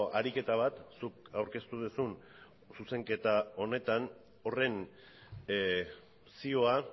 ariketa bat zuk aurkeztu duzun zuzenketa honetan horren zioa